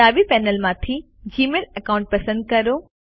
ડાબી પેનલમાંથી Gmail account પસંદ કરો